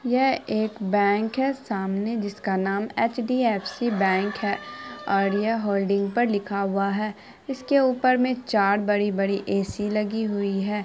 यह एक बैंक है सामने जिसका नाम एच.डी.एफ़.सी. बैंक है और ये होल्डिंग पे लिखा हुआ है इसके ऊपर में चार बड़ी बड़ी ए.सी. लगी हुईं है।